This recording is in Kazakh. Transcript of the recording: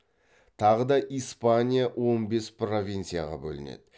тағыда испания он бес провицияға бөлінеді